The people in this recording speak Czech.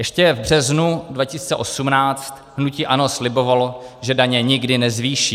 Ještě v březnu 2018 hnutí ANO slibovalo, že daně nikdy nezvýší.